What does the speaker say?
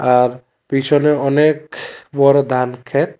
আর পিছনে অনেক বড় দানখেত ।